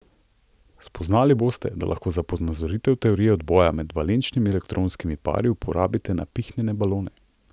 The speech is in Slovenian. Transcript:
Spoznali boste, da lahko za ponazoritev teorije odboja med valenčnimi elektronskimi pari uporabite napihnjene balone.